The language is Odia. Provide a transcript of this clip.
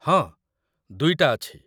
ହଁ, ଦୁଇଟା ଅଛି ।